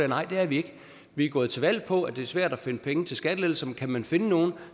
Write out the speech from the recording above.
nej det er vi ikke vi er gået til valg på at det er svært at finde penge til skattelettelser men kan man finde nogle